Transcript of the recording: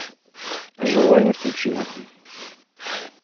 живая мертвечина